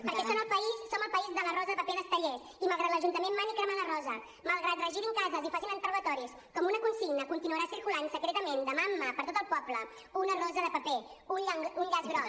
perquè som el país de la rosa de paper d’estellés i malgrat que l’ajuntament mani cremar la rosa malgrat que regirin cases i facin interrogatoris com una consigna continuarà circulant secretament de mà en mà per tot el poble una rosa de paper un llaç groc